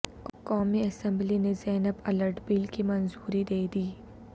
قومی اسمبلی نے زینب الرٹ بل کی منظوری دے دی